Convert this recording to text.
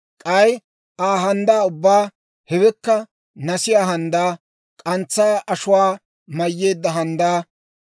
K'ay Aa handdaa ubbaa: hewekka nasiyaa handdaa, k'antsaa ashuwaa mayyeedda handdaa,